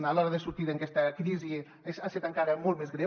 a l’hora de sortir d’aquesta crisi ha estat encara molt més greu